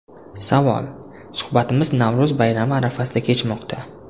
Savol: Suhbatimiz Navro‘z bayrami arafasida kechmoqda.